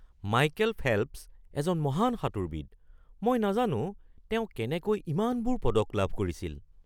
Michael Phelps এজন মহান সাঁতোৰবিদ। মই নাজানো তেওঁ কেনেকৈ ইমানবোৰ পদক লাভ কৰিছিল !